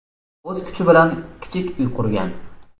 O‘z kuchi bilan kichik uy qurgan.